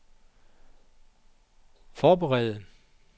forberede